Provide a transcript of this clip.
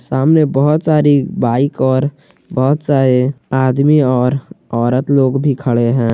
सामने बहुत सारी बाइक और बहुत सारे आदमी और औरत लोग भी खड़े हैं।